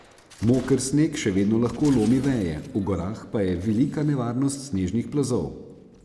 Moker sneg še vedno lahko lomi veje, v gorah pa je velika nevarnost snežnih plazov.